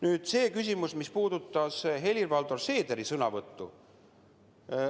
Nüüd see küsimus, mis puudutas Helir-Valdor Seederi sõnavõttu.